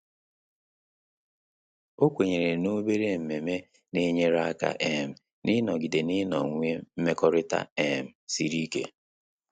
Ọ́ kwènyèrè na obere ememe nà-ényéré áká um ị́nọ́gídé n’ị́nọ́wé mmekọrịta um siri ike.